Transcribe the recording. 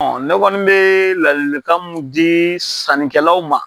Ɔ ne kɔni bɛ ladilikan mun di sannikɛlaw ma